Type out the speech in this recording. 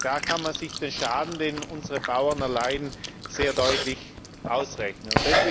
Da kann man sich den Schaden, den unsere Bauern erleiden, sehr deutlich ausrechnen.